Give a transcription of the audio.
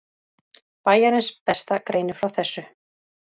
Bæjarins besta greinir frá þessu.